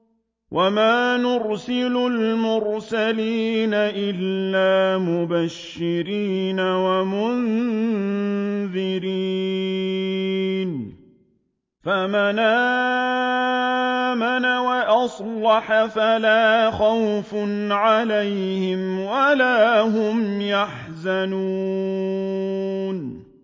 وَمَا نُرْسِلُ الْمُرْسَلِينَ إِلَّا مُبَشِّرِينَ وَمُنذِرِينَ ۖ فَمَنْ آمَنَ وَأَصْلَحَ فَلَا خَوْفٌ عَلَيْهِمْ وَلَا هُمْ يَحْزَنُونَ